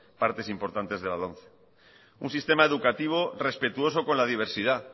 partes importantes de la lomce un sistema educativo respetuosa con la diversidad